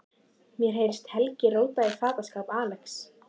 Mér heyrist Helgi róta í fataskáp Axels.